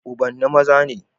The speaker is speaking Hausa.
Ubanni maza ne